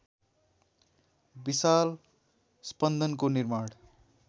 विशाल स्पन्दनको निर्माण